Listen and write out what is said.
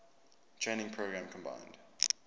training program combined